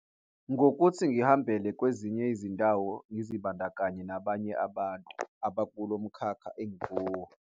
Ngokuthi ngihambele kwezinye izindawo, ngizibandakanye nabanye abantu abakulo mkhakha engikuwo.